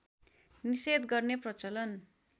निषेध गर्ने प्रचलन